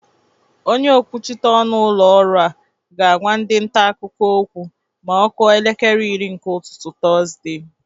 Onye okwuchita ọnụ ụlọ ọrụ a ga-agwa ndị nta akụkọ okwu ma ọ kụọ elekere iri nke ụtụtụ Tọzde.